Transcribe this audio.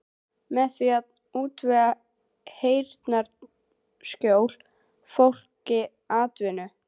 Með því að útvega heyrnarsljóu fólki atvinnu.